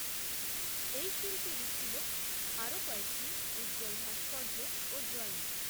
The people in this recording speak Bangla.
এই শিল্পীরই ছিল, আরও কয়েকটি উজ্জ্বল ভাস্কর্য, ও ড্রয়িং